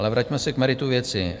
Ale vraťme se k meritu věci.